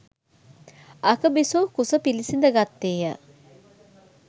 අග බිසෝ කුස පිළිසිඳ ගත්තේය.